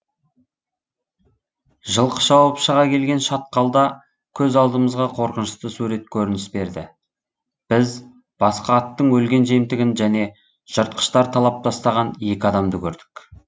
жылқы шауып шыға келген шатқалда көз алдымызға қорқынышты сурет көрініс берді біз басқа аттың өлген жемтігін және жыртқыштар талап тастаған екі адамды көрдік